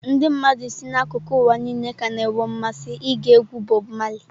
Ndị mmadụ si n'akụkụ ụwa niile ka na-enwe mmasị ige egwu Bob Marley.